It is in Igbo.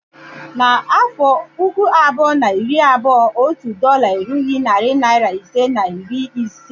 N'afọ puku abụọ na iri abụọ, otu dọla erughi narị naịra ise na iri ise